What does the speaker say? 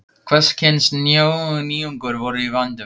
Hvers kyns nýjungar voru í vændum.